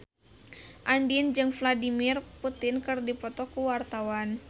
Andien jeung Vladimir Putin keur dipoto ku wartawan